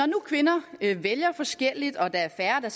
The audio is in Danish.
nu kvinder vælger forskelligt og der er færre der